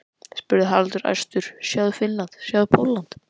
spurði Haraldur æstur, sjáðu Finnland, sjáðu Pólland.